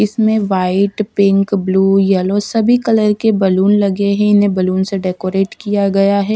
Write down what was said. इसमें white pink blue yellow सभी colour के बलून लगे हैं इन्हें बलून से डेकोरेट किया गया है।